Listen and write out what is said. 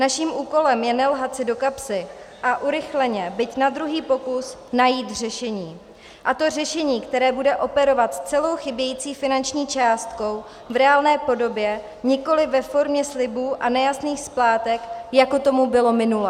Naším úkolem je nelhat si do kapsy a urychleně, byť na druhý pokus, najít řešení, a to řešení, které bude operovat s celou chybějící finanční částkou v reálné podobě, nikoliv ve formě slibů a nejasných splátek, jako tomu bylo minule.